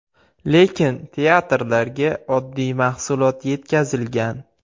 Lekin teatrlarga oddiy mahsulot yetkazilgan.